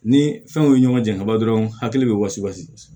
Ni fɛnw ye ɲɔgɔn jan ka ban dɔrɔn hakili bɛ wili